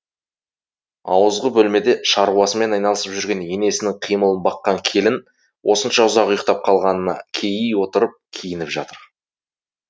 ауызғы бөлмеде шаруасымен айналысып жүрген енесінің қимылын баққан келін осынша ұзақ ұйықтап қалғанына кейи отырып киініп жатыр